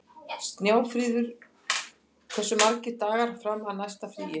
Snjáfríður, hversu margir dagar fram að næsta fríi?